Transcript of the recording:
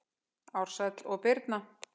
Ársæll og Birna.